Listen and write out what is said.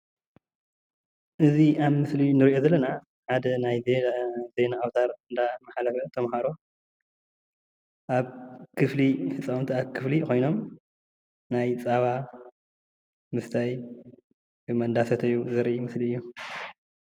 እዚ ኣብ ምስሊ እንሪኦ ዘለና ሓደ ናይ ዜና ኣውታር እንዳተመሓላለፈ ብተማሃሮ አብ ክፍሊ ህፃውንቲ ኣብ ክፍሊ ኮይኖም ናይ ፀባ ምስታ ወይ ድማ እንዳሰተዩ ዘርኢ ምስሊ እዩ፡፡